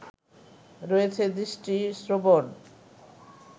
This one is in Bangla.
রয়েছে দৃষ্টি, শ্রবণ